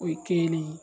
O ye kelen ye